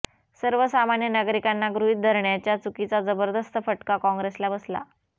सर्वसामान्य नागरिकांना गृहीत धरण्याच्या चुकीचा जबरदस्त फटका कॉंग्रेसला बसला